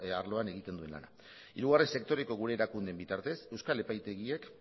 arloan egiten duen lana hirugarren sektoreko gure erakundeen bitartez euskal epaitegiek